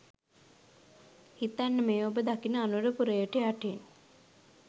හිතන්න මේ ඔබ දකින අනුරපුරයට යටින්